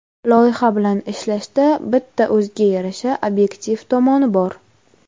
Loyiha bilan ishlashda bitta o‘ziga yarasha obyektiv tomoni bor.